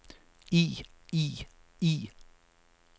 i i i